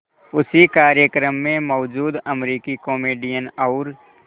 उसी कार्यक्रम में मौजूद अमरीकी कॉमेडियन और